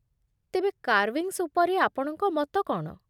ତେବେ, କାର୍ଭିଙ୍ଗ୍ସ୍ ଉପରେ ଆପଣଙ୍କ ମତ କ'ଣ?